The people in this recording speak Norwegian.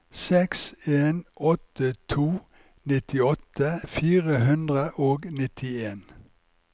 seks en åtte to nittiåtte fire hundre og nittien